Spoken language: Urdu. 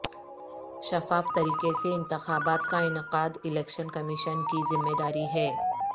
شفاف طریقے سے انتخابات کا انعقاد الیکشن کمیشن کی ذمہ داری ہے